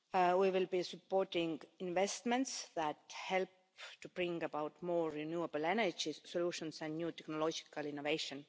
We will be supporting investments that help to bring about more renewable energy solutions and new technological innovation.